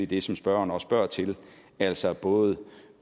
det som spørgeren spørger til altså både